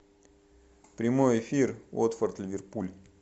прямой эфир уотфорд ливерпуль